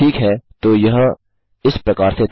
ठीक है तो यह इस प्रकार से था